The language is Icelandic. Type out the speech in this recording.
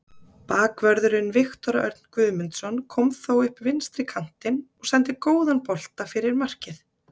Bakvörðurinn Viktor Örn Guðmundsson kom þá upp vinstri kantinn og sendi góðan bolta fyrir markið.